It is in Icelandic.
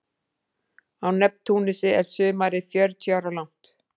Á Neptúnusi er sumarið fjörutíu ára langt.